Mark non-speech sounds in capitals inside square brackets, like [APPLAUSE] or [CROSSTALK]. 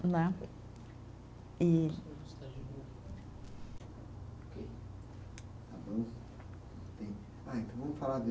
Né, e. [UNINTELLIGIBLE] Ah, então vamos falar de